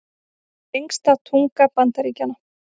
Lengsta tunga Bandaríkjanna